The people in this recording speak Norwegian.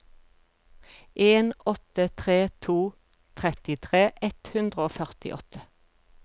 en åtte tre to trettitre ett hundre og førtiåtte